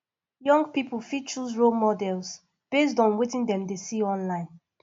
young pipo fit choose role models based on wetin dem dey see online